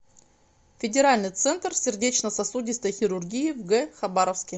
федеральный центр сердечно сосудистой хирургии в г хабаровске